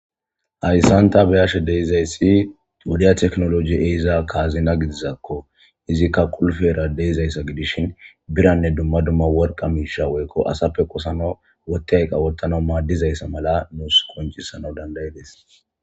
Hayssanta beyashe deizayssi duudiya teknoloji eiza kaazina gidizakko izikka qulfera deizayssa gidishin biranne dumma dumma worqa miisha woykko asappe qosana wottay qawottana maaddizayssa mala nuus qoncisana dandayides.